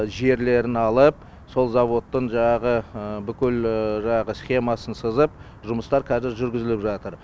жерлерін алып сол заводтың жаңағы бүкіл жаңағы схемасын сызып жұмыстар қазір жүргізіліп жатыр